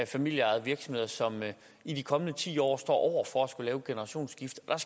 familieejede virksomheder som i de kommende ti år står over for at skulle lave et generationsskifte og